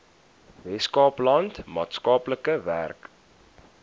weskaapland maatskaplike werk